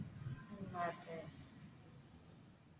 ഉം അതെ